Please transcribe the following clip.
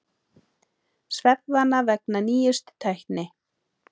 Svefnvana vegna nýjustu tækni